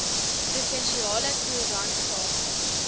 provinsiale koerant sake